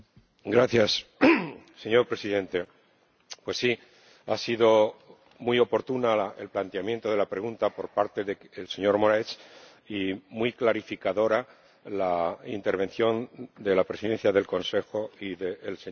Señor Presidente, pues sí, ha sido muy oportuno el planteamiento de la pregunta por parte del señor Moraes y muy clarificadora la intervención de la Presidencia del Consejo y del señor Avramopoulos.